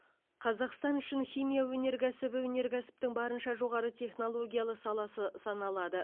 қазақстан үшін химия өнеркәсібі өнеркәсіптің барынша жоғары технологиялы саласы саналады